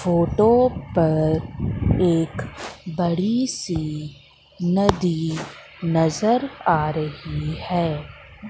Photo पर एक बड़ी सी नदी नजर आ रही है।